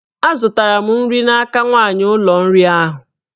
Azụtara m nri n'aka nwanyị ụlọ nri ahu